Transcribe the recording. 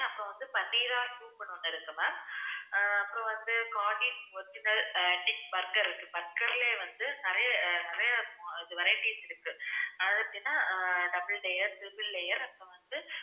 இப்ப வந்து பன்னீர் soup ஒன்னு இருக்கு ma'am அப்புறம் வந்து haadies original fish burger இருக்கு ma'am burger லே நிறைய நிறைய varieties இருக்கு அது எப்படின்னா double layer triple layer அப்புறம் வந்து இருக்கு